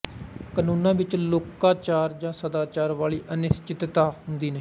ਕਾਨੂੰਨਾਂ ਵਿੱਚ ਲੋਕਾਚਾਰ ਜਾਂ ਸਦਾਚਾਰ ਵਾਲੀ ਅਨਿਸਚਿਤਤਾ ਹੁੰਦੀ ਨਹੀਂ